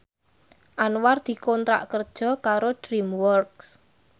Anwar dikontrak kerja karo DreamWorks